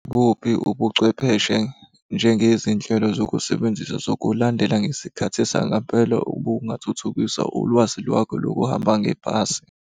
Buphi ubuchwepheshe njengezinhlelo zokusebenzisa zokulandela ngesikhathi sangempela okungathuthukisa ulwazi lwakho lokuhamba ngebhasi?